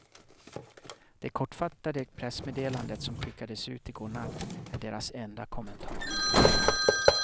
Det kortfattade pressmeddelandet som skickades ut i går natt är deras enda kommentar.